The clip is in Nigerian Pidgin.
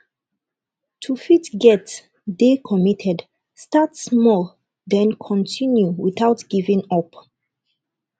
to fit get dey committed start small then continue without giving up